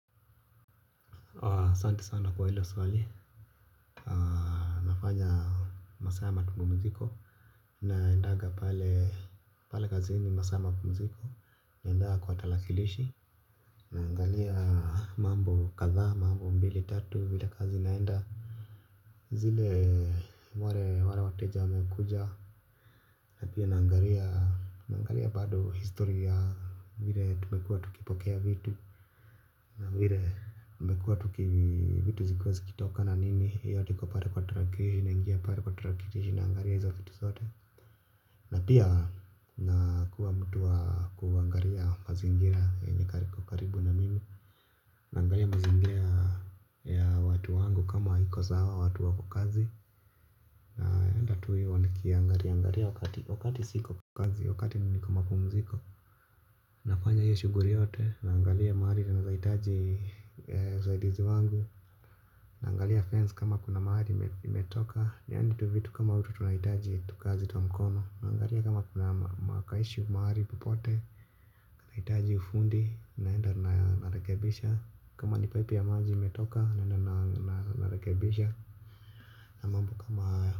Ahsante sana kwa hilo swali nafanya masaa ya mapumziko naendaga pale kazini masaa ya mapumziko naendanga kwa tarakilishi naangalia mambo kadhaa mambo mbili tatu vile kazi inaenda. Zile wale wale wateja wamekuja. Na pia naangalia. Naangalia bado historia vile tumekua tukipokea vitu. Na vile tumekua tuki vitu zilikuwa zikitoka na nini hii yote iko pale kwa tarakilishi naingia pale kwa tarakilishi naangalia hizo vitu zote. Na pia nakuwa mtu wa kuangalia mazingira yenye iko karibu na mimi. Naangalia mazingira ya watu wangu kama iko sawa watu wako kazi naenda tu hivo nikiangalia wakati siko kazi wakati niko mapumziko. Nafanya hiyo shughuli yote naangalia mahali tunaeza hitaji usaidizi wangu. Naangalia fence kama kuna mahali imetoka yani tuvitu kama hutu tunahitaji tukazi twa mkono. Naangalia kama kuna ma ka issue mahali popote. Nahitaji ufundi naenda narekebisha. Kama ni pipe ya maji imetoka naenda narekebisha. Na mambo kama haya.